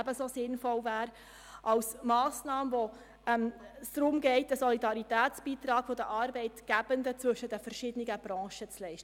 Ebenso sinnvoll wäre es bei einer Massnahme, bei welcher es um einen Solidaritätsbeitrag geht, den die Arbeitgebenden zwischen den verschiedenen Branchen leisten.